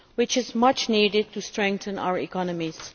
This is much needed to strengthen our economies.